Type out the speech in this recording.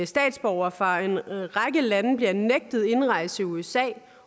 statsborgere fra en række lande bliver nægtet indrejse til usa